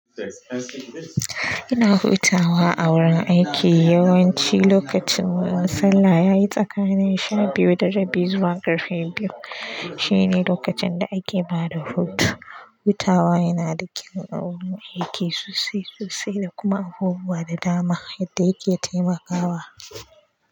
Ina hutawa a wurin aiki yawanci lokacin ma sallah yayi tsakani sha biyu da rabi zuwa ƙarfe biyu. Shine lokacin da ake bada hutu. Hutawa yana da kyau a wurin aiki sosai sosai da kuma abubuwa da dama yadda yake taimakawa.